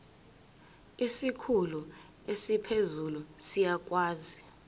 isikhulu esiphezulu siyakwazi